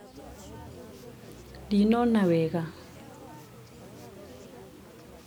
ndinona wega